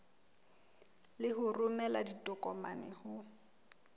le ho romela ditokomane ho